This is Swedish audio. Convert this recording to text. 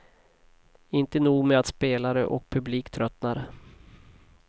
Inte nog med att spelare och publik tröttnar.